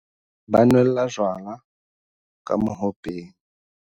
ba nwella jwala ka mohopeng